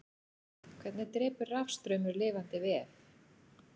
hvernig drepur rafstraumur lifandi vef